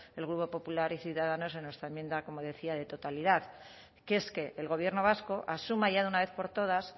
el grupo popular ciudadanos en nuestra enmienda como decía de totalidad que es que el gobierno vasco asuma ya de una vez por todas